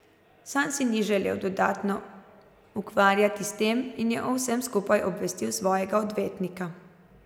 Sam se ni želel dodatno ukvarjati s tem in je o vsem skupaj obvestil svojega odvetnika.